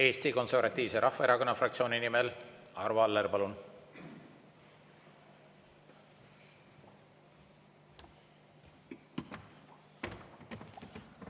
Eesti Konservatiivse Rahvaerakonna fraktsiooni nimel Arvo Aller, palun!